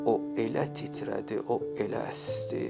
O elə titrədi, o elə əsdi.